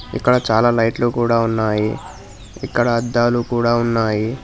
ఇక్కడ చాలా లైట్లు కూడా ఉన్నాయి ఇక్కడ అద్దాలు కూడా ఉన్నాయి.